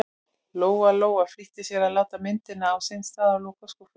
Lóa-Lóa flýtti sér að láta myndina á sinn stað og loka skúffunni.